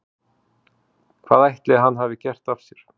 Hvað ætli hann hafi gert af sér?